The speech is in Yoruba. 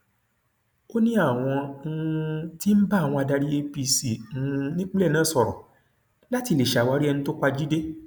ó ní àwọn um tí ń bá àwọn adarí apc um nípínlẹ náà sọrọ láti lè ṣàwárí ẹni tó pa jíde